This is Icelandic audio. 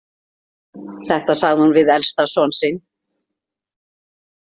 Þetta sagði hún við elsta son sinn.